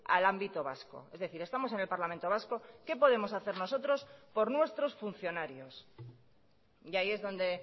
al ámbito vasco es decir estamos en el parlamento vasco qué podemos hacer nosotros por nuestros funcionarios y ahí es donde